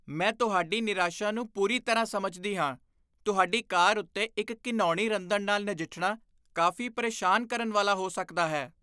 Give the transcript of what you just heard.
ਮੈਂ ਤੁਹਾਡੀ ਨਿਰਾਸ਼ਾ ਨੂੰ ਪੂਰੀ ਤਰ੍ਹਾਂ ਸਮਝਦੀ ਹਾਂ। ਤੁਹਾਡੀ ਕਾਰ ਉੱਤੇ ਇੱਕ ਘਿਣਾਉਣੀ ਰੰਦਣ ਨਾਲ ਨਜਿੱਠਣਾ ਕਾਫ਼ੀ ਪ੍ਰੇਸ਼ਾਨ ਕਰਨ ਵਾਲਾ ਹੋ ਸਕਦਾ ਹੈ।